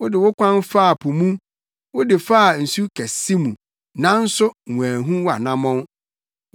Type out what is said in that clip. Wode wo kwan faa po mu, wode faa nsu kɛse mu, nanso wɔanhu wʼanammɔn.